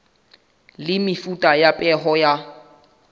le mefuta ya peo ya